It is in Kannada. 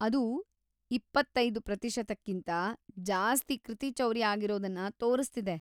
ಅದು ಇಪ್ಪತ್ತೈದು ಪ್ರತಿ ಶತಕಿಂತ ಜಾಸ್ತಿ ಕೃತಿಚೌರ್ಯ ಆಗಿರೋದನ್ನ ತೋರಿಸ್ತಿದೆ.